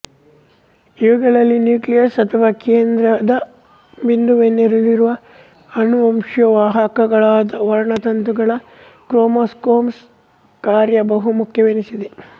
ಇವುಗಳಲ್ಲಿ ನ್ಯೂಕ್ಲಿಯಸ್ ಅಥವಾ ಕೇಂದ್ರಕ ಬಿಂದುವಿನಲ್ಲಿರುವ ಅನುವಂಶಿಯ ವಾಹಕಗಳಾದ ವರ್ಣತಂತುಗಳ ಕ್ರೋಮೋಸೋಮ್ಸ್ ಕಾರ್ಯ ಬಹು ಮುಖ್ಯವೆನಿಸಿದೆ